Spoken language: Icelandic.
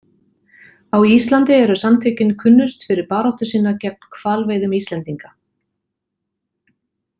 Á Íslandi eru samtökin kunnust fyrir baráttu sína gegn hvalveiðum Íslendinga.